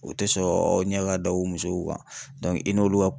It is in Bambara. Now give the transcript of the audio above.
U te sɔn aw ɲɛ ka da u musow kan, i n'olu ka